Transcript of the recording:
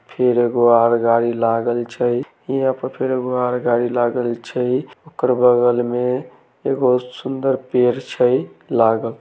फिर एगो आर गाड़ी लागल छै यहां पे फिर एगो गाड़ी लागल छै ओकर बगल में एगो सुंदर पेड़ छै लाग़ल।